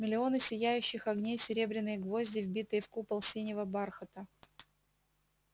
миллионы сияющих огней серебряные гвозди вбитые в купол синего бархата